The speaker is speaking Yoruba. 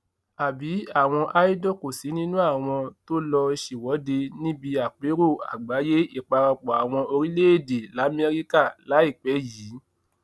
àbí àwọn idol kò sí nínú àwọn tó lọọ ṣèwọde níbi àpérò àgbáyé ìparapọ àwọn orílẹèdè lamẹríkà láìpẹ yìí